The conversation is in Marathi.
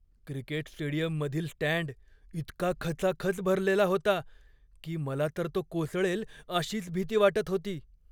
क्रिकेट स्टेडियममधील स्टँड इतका खचाखच भरलेला होता की मला तर तो कोसळेल अशीच भीती वाटत होती.